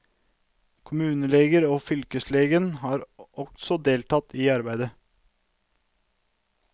Kommuneleger og fylkeslegen har også deltatt i arbeidet.